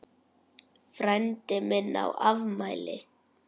Frændi minn á afmæli.